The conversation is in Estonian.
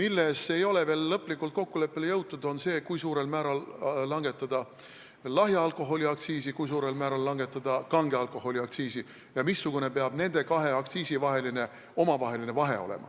Lõplikult ei ole kokkuleppele jõutud selles, kui suurel määral tuleks langetada lahja alkoholi aktsiisi, kui suurel määral tuleks langetada kange alkoholi aktsiisi ja missugune peaks olema nende kahe aktsiisi vahe.